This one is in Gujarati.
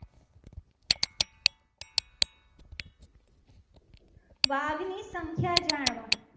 વાઘ નીસંખ્યા જાણવા